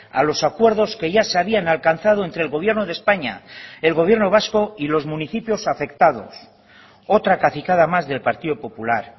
a los acuerdos que ya se habían alcanzado entre el gobierno de españa el gobierno vasco y los municipios afectados otra cacicada más del partido popular